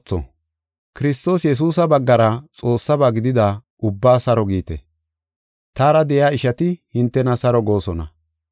Kiristoos Yesuusa baggara Xoossaba gidida ubbaa saro giite. Taara de7iya ishati hintena saro goosona.